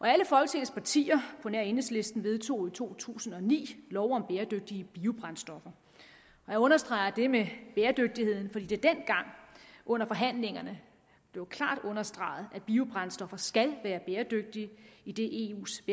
alle folketingets partier på nær enhedslisten vedtog i to tusind og ni lov om bæredygtige biobrændstoffer jeg understreger det med bæredygtigheden fordi det dengang under forhandlingerne blev klart understreget at biobrændstoffer skal være bæredygtige idet eus